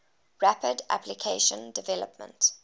rapid application development